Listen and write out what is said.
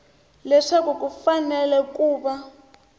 leswaku ku fanele ku va